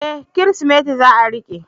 E! Kirsimeti za a riƙe.